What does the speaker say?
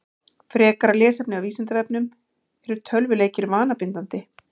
Frekara lesefni af Vísindavefnum: Eru tölvuleikir vanabindandi?